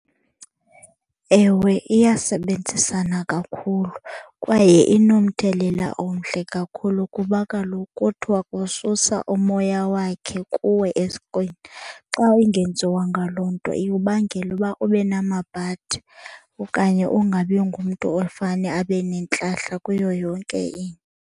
Ewe, iyasebenzisana kakhulu kwaye inomthelela omhle kakhulu kuba kaloku kuthiwa kususa umoya wakhe kuwe esiqwini. Xa ingenziwanga loo nto ikubangela uba ube namabhadi okanye ungabi ngumntu ofane abe nentlahla kuyo yonke into.